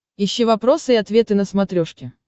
ищи вопросы и ответы на смотрешке